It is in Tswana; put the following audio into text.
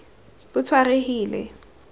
botshwarehile